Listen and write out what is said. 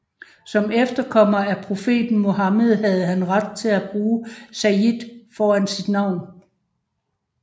Som efterkommer af profeten Muhammed havde han ret til at bruge Sayyid foran sit navn